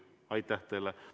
Aitäh teile!